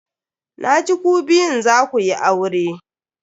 Na ji ku biyun za ku yi aure.